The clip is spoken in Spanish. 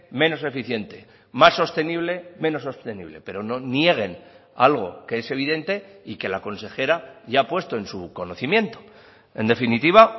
menos eficiente más sostenible menos sostenible pero no nieguen algo que es evidente y que la consejera ya ha puesto en su conocimiento en definitiva